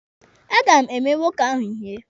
A ga m eme nwoke ahụ ihe.